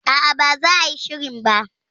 A'a, ba za a yi shirin ba